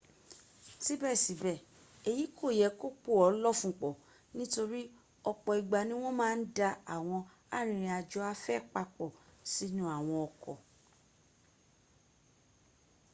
síbẹ̀síbẹ̀ èyí kò yẹ kó pò ọ́ lọ́fun pọ̀ nítorí ọ̀pọ̀ ìgbà ní wọ́n má ń da àwọn arìnrìn àjò afẹ́ papọ̀ sínú àwọn ọkọ̀